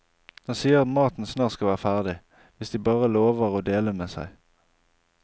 Den sier at maten snart skal være ferdig, hvis de bare lover å dele med seg.